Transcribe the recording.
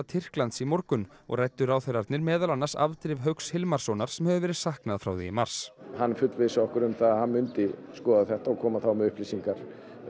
Tyrklands í morgun og ræddu ráðherrarnir meðal annars afdrif Hauks Hilmarssonar sem hefur verið saknað frá því í mars hann fullvissaði okkur um að hann myndi skoða þetta og koma þá með upplýsingar